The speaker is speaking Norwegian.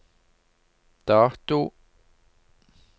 dato